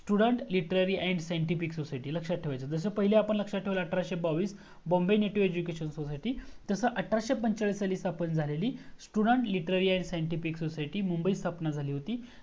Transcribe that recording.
student literary And Scientific Society लक्ष्यात ठेवायचं जस आपण पहिलं लक्षात ठेवल अठराशे बावीस Bombay Native Education Society तस अठराशे पंचेचाळीस साली स्थापन झालेली Student Literary And Scientific Society मुंबईत स्थापन झाली होती